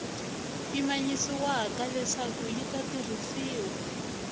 pimanyisiwaka leswaku yi ta tirhisiwa